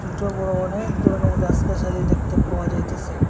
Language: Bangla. সোটো বড় অনেক দরনের গাস গাসালি দেখতে পাওয়া যাইতেসে।